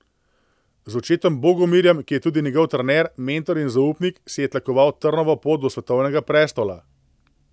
Z očetom Bogomirjem, ki je tudi njegov trener, mentor in zaupnik, si je tlakoval trnovo pot do svetovnega prestola.